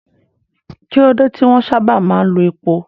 Kí ló dé tí wọ́n sábà máa ń lo epo?